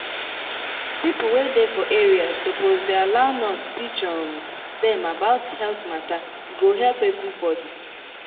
people wey dey for area suppose dey allow nurse teach um dem about health matter e go help everybody.